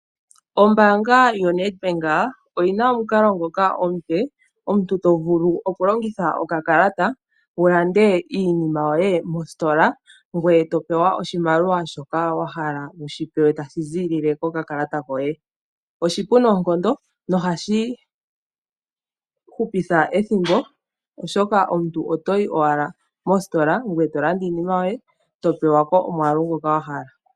Ombaanga yoNedbank oyi na omukalo ngoka omupe, omuntu to vulu okulongitha okakalata wu lande iinima yoye mositola ngoye to pewa oshimaliwa shoka wa hala wu shi pewe tashi ziilile kokakalata koye. Oshipu noonkondo nohashi hupitha ethimbo, oshoka omuntu oto yi owala mositola, ngoye to landa iinima yoye, to pewa ko omwaalu ngoka wa hala.